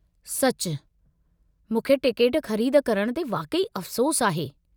सचु, मूंखे टिकेट ख़रीद करणु ते वाक़ई अफ़सोसु आहे।